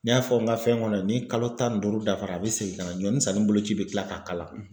N y'a fɔ n ka fɛn kɔnɔ ni kalo tan ni duuru dafara a bɛ segin ka na ɲɔnisanni boloci bɛ kila k'a k'a la.